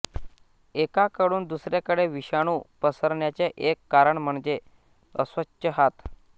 एकाकडून दुसऱ्याकडे विषाणू पसरण्याचे एक कारण म्हणजे अस्वच्छ हात